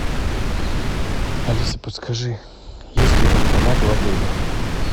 алиса подскажи есть ли банкомат в отеле